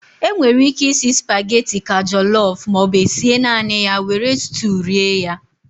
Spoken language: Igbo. E nwere íké isi spageti ka jọlọf maọbụ esie naanị ya were stuu rie ya.